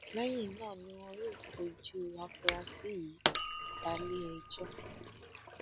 lẹyìn náà ni wọn yóò fojú àfúrásì yìí bale ẹjọ